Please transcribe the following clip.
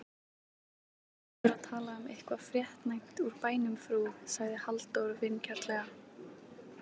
Eigum við ekki heldur að tala um eitthvað fréttnæmt úr bænum frú? sagði Halldór vingjarnlega.